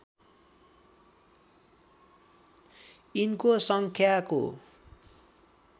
यिनको सङ्ख्याको